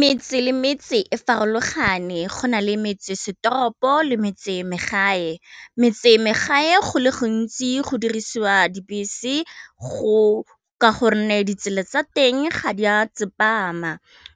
Metse le metse e farologane go na le metsesetoropo le metse megae, metse megae go le gantsi go dirisiwa dibese go ka gonne ditsela tsa teng ga di a tsepama,